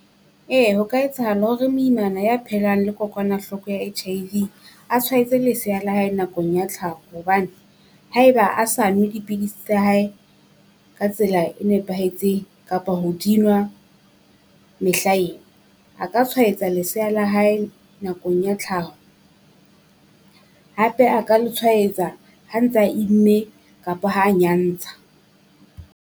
Ee ho ka etsahala hore moimana ya phelang le kokwanahloko ya H_I_V, a tshwaetse lesea la hae nakong ya tlhaho, hobane haeba a sa nwe dipidisi tsa hae ka tsela e nepahetseng kapa ho di nwa mehla ena. A ka tshwaetsa lesea la hae nakong ya tlhaho, hape a ka le tshwaetsa ha ntsa imme kapa ha nyantsha.